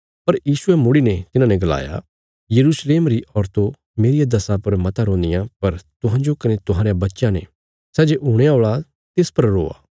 पर यीशुये मुड़ीने तिन्हाने गलाया यरूशलेम री औरतो मेरिया दशा पर मता रोन्दियां पर तुहांजो कने तुहांरयां बच्चयां ने सै जे हुणे औल़ा तिस पर रोआ